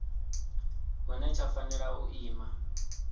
hune tsha fanela u ima